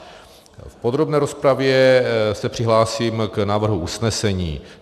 V podrobné rozpravě se přihlásím k návrhu usnesení.